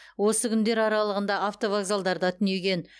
осы күндер аралығында автовокзалдарда түнеген